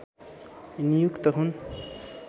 नियुक्त हुन्